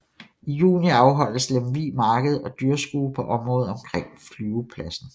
I juni afholdes Lemvig Marked og Dyrskue på området omkring flyvepladsen